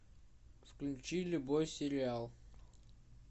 включи любой сериал